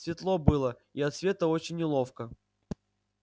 светло было и от света очень неловко